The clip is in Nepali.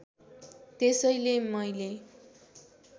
त्यसैले मैले